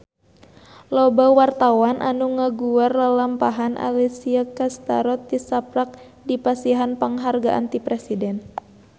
Loba wartawan anu ngaguar lalampahan Alessia Cestaro tisaprak dipasihan panghargaan ti Presiden